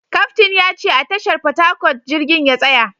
Kaftin ya ce a tashar Port Harcourt jirgin ya tsaya